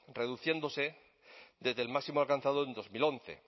reduciéndose desde el máximo alcanzado en dos mil once